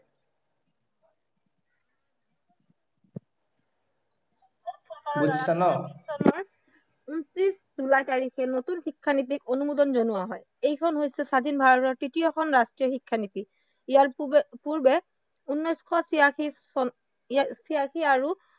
ঊনত্ৰিশ জুলাই তাৰিখে নতুন শিক্ষানীতিক অনুমোদন জনোৱা হয়। এইখন হৈছে স্বাধীন ভাৰতৰ তৃতীয়খন শিক্ষানীতি, ইয়াৰ পূৰ্বে ঊনেছ শ তিৰাশী আৰু